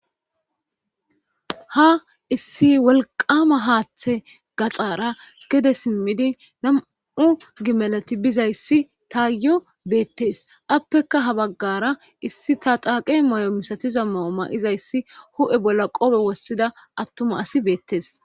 ha issi wolqama haaththe gaxaara gede simmidi nam7u gimalati bizayssi taayo beettes appeka ha baggara issi ta xaaqe may7o misatiza maoma izayssi hu7e bolla qophe wossida attuma asi beettes